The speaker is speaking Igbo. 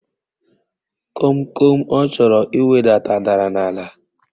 Komkom ọ chọrọ iwedata dara n'ala.